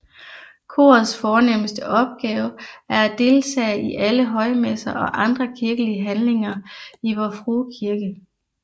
Korets fornemmeste opgave er at deltage i alle højmesser og andre kirkelige handlinger i Vor Frue Kirke